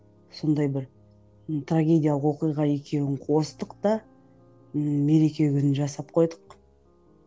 сондай бір трагедиялық оқиға екеуін қостық та ммм мереке күнін жасап қойдық